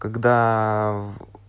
когда в